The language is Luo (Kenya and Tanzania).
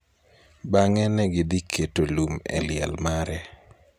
Bang�e ne gidhi keto lum e liel mare.